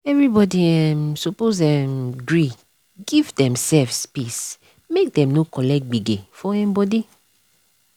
everybody um suppose um gree give demsef space make dem no collect gbege for um body.